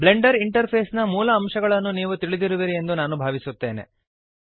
Blender interface ನ ಮೂಲ ಅಂಶಗಳನ್ನು ನೀವು ತಿಳಿದಿರುವಿರಿ ಎಂದು ನಾನು ಭಾವಿಸುತ್ತೇನೆ